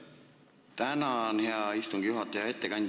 Tänan, hea istungi juhataja!